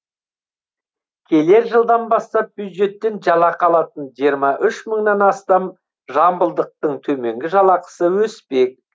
келер жылдан бастап бюджеттен жалақы алатын жиырма үш мыңнан астам жамбылдықтың төменгі жалақысы өспек